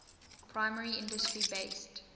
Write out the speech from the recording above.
primary industry based